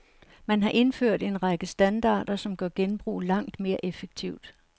Man har indført en række standarder, som gør genbrug langt mere effektivt.